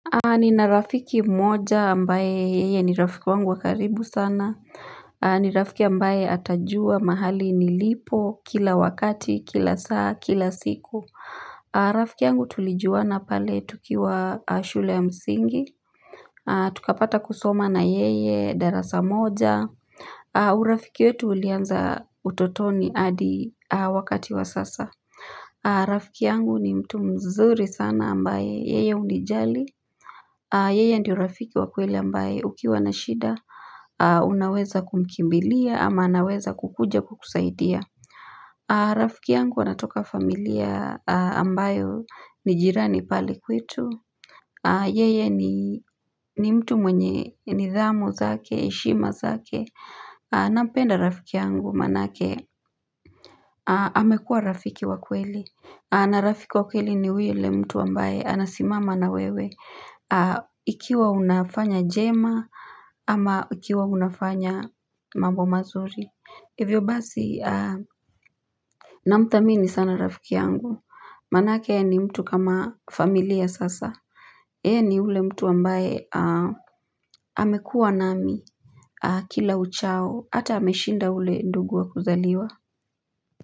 Nina rafiki mmoja ambaye yeye ni rafiki wangu wa karibu sana. Ni rafiki ambaye atajua mahali nilipo, kila wakati, kila saa, kila siku. Rafiki yangu tulijuwana pale tukiwa shule ya msingi. Tukapata kusoma na yeye darasa moja. Urafiki wetu ulianza utotoni hadi wakati wa sasa. Rafiki yangu ni mtu mzuri sana ambaye yeye unijali. Yeye ndiyo rafiki wakweli ambaye ukiwa na shida Unaweza kumkimbilia ama anaweza kukuja kukusaidia Rafiki yangu anatoka familia ambayo ni jirani pale kwetu Yeye ni mtu mwenye nidhamu zake, heshima zake Nampenda rafiki yangu manake amekua rafiki wakweli na rafiki wakweli ni yule mtu ambaye Anasimama na wewe Ikiwa unafanya jema Ama ikiwa unafanya mambo mazuri Hivyo basi Namthamini sana rafiki yangu Manake yeye ni mtu kama familia sasa He ni ule mtu wambaye amekua nami Kila uchao Hata ameshinda ule ndugu wa kuzaliwa.